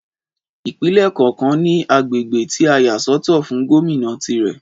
Ìpínlè kọọkan ní agbègbè tí a yà sọ́tọ̀ fún Gómìnà tirè